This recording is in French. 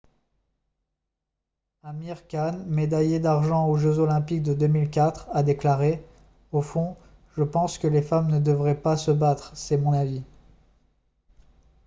amir khan médaillé d'argent aux jeux olympiques de 2004 a déclaré :« au fond je pense que les femmes ne devraient pas se battre. c'est mon avis. »